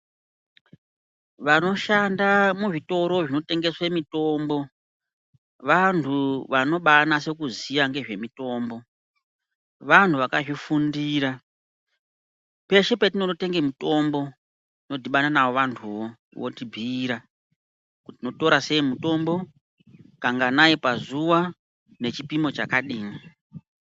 Vanoshanda muzvitoro zvinotengese mutombo vantu vanobanase kuziya ngezvemitombo, vantu vakazvifundira peshe petinonotenge mitombo tinodhibana navo vantuvo votibhiira kuti tingoitora sei mutombo kanganai pazuwa nechipimo chakadini.